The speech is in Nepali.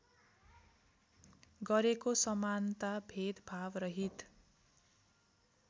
गरेको समानता भेदभावरहित